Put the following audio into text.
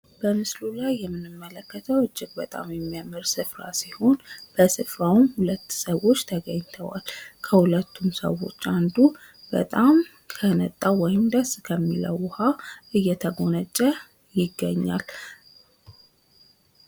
በምስሉ ላይ የምንመለከተዉ እጅግ በጣም የሚያምር ስፍራ ሲሆን ፤ በስፍራዉም ሁለት ሰዎች ተገኝተዋል። ከሁለቱም ሰዎች አንዱ በጣም ከነጣው ውይም ደስ ከሚለው ውሃ እየተጎነጨ ይገኛል ።